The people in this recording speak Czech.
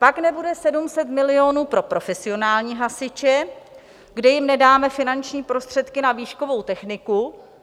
Pak nebude 700 milionů pro profesionální hasiče, kde jim nedáme finanční prostředky na výškovou techniku.